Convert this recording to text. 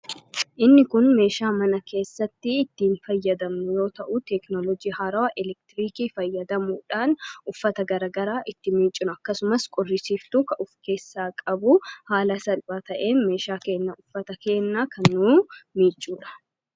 inni kun meeshaa mana keessatti ittiin fayyadamnu yoo ta'u teeknoloojii harawaa elektiriikii fayyadamuudhaan uffata garagaraa itti miiccun akkasumas qoorsuu of keessaa qabu haala salphaa ta'een meeshaa kenna uffata kennaa kan nu miicuudha.